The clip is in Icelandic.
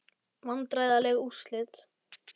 Vandræðaleg úrslit?